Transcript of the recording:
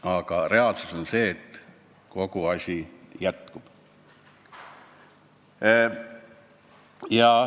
Aga reaalsus on see, et kogu asi jätkub.